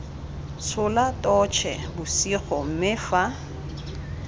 tshola totšhe bosigo mme fa